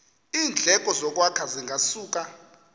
iindleko zokwakha zingasuka